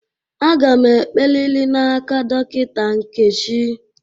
Aga m ekperiri n'aka Dọkịta Nkechi.